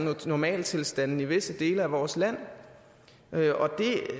normaltilstande i visse dele af vores land